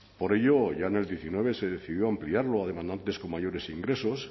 por ello ya en el diecinueve se decidió ampliarlo a demandantes con mayores ingresos